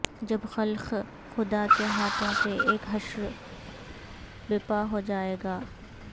جب خلق خدا کے ہاتھوں سے اک حشر بپا ہوجائیگا